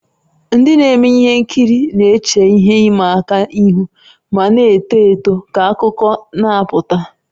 Ndị na-eme ihe nkiri na-eche ihe ịma aka ihu ma na-eto eto ka akụkọ na-apụta.